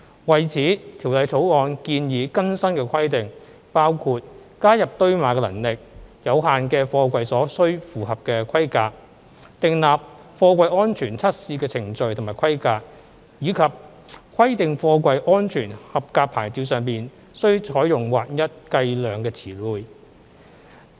為此，《條例草案》建議更新的規定包括加入堆碼能力有限的貨櫃所須符合的規格、訂立貨櫃安全測試的程序及規格，以及規定貨櫃"安全合格牌照"上須採用劃一計量詞彙。